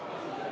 Panen ...